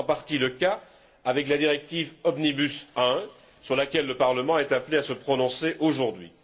C'est en partie le cas avec la directive Omnibus I, sur laquelle le Parlement est appelé à se prononcer aujourd'hui.